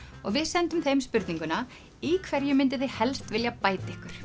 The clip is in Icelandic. og við sendum þeim spurninguna í hverju mynduð þið helst vilja bæta ykkur